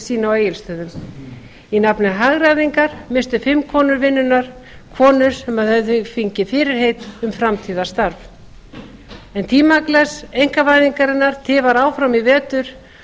sinni á egilsstöðum í nafni hagræðingar misstu fimm konur vinnuna konur sem höfðu fengið fyrirheit um framtíðarstarf en tímaglas einkavæðingarinnar tifar áfram í vetur